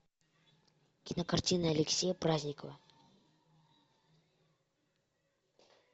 кинокартина алексея праздникова